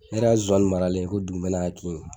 ne yɛrɛ ka nsonsannin maralen ko dugumɛnɛ y'a kin